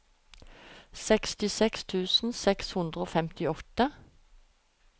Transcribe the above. sekstiseks tusen seks hundre og femtiåtte